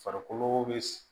Farikolo be